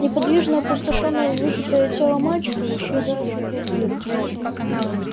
неподвижное опустошённое выпитое тело мальчика и исчезающих вампиров